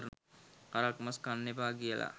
හරක් මස් කන්න එපා කියලා